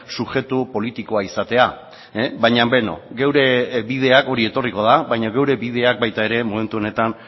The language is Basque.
subjektu politikoa izatea hori etorriko da baina geure bideak baita ere momentu honetan